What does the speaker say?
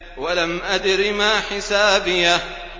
وَلَمْ أَدْرِ مَا حِسَابِيَهْ